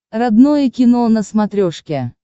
родное кино на смотрешке